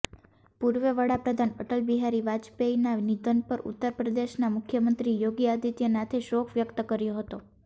પૂર્વ વડાપ્રધાન અટલ બિહારી વાજપેયીના નિધન પર ઉત્તરપ્રદેશના મુખ્યમંત્રી યોગી આદિત્યનાથે શોક વ્યક્ત કર્યો હતો